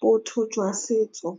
botho jwa setso.